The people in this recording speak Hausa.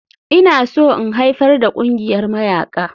Ina so in haifar da ƙungiyar mayaƙa.